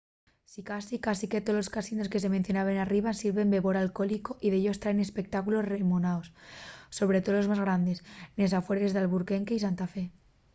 sicasí cásique tolos casinos que se mencionen arriba sirven bébora alcohólico y dellos traen espectáculos renomaos sobre too los más grandes nes afueres d’albuquerque y santa fe